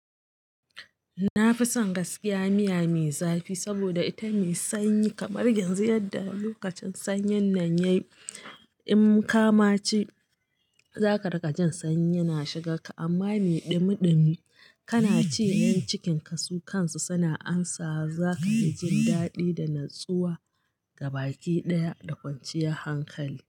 Na fi son gaskiya miya mai zafi saboda ita mai sanyi kamar yanzu yadda lokacin sanyin nan yayi. In kama ci za ka raka jin sanyi na shiga ka. Amma me ɗumi ɗumi kana ci, yan cikin ka su kansu suna amsawa za ka fi jin daɗi da natsuwa gabaɗaya da kwanciyar hankali.